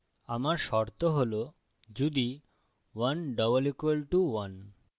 আমার শর্ত হল যদি 1 == 1